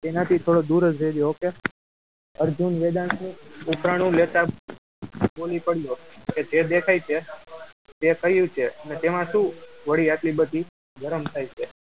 એનાથી થોડો દૂર જ રહેજે okay અર્જુન વેદાંતનું ઉપરાણું લેતા બોલી પડ્યો કે જે દેખાય તે તે કહ્યું છે અને તેમાં શું વળી આટલી બધી ગરમ થાય છે